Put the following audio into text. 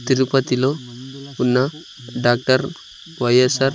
తిరుపతిలో ఉన్న doctor Y S R --